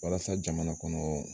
Walasa jamana kɔnɔ